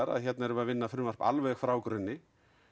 að hérna erum við að vinna frumvarp alveg frá grunni